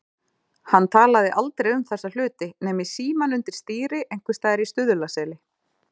Hann talaði aldrei um þessa hluti nema í símann undir stýri einhvers staðar í Stuðlaseli.